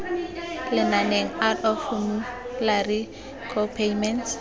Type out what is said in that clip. lenaneng out of formulary copayments